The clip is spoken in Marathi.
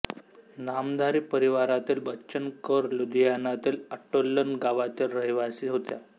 नामधारी परिवारातील बच्चन कौर लुधियानातील ओट्टालन गावातील रहिवासी होत्या